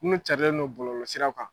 Kuma carilen don bɔlɔlɔɔ siraw kan.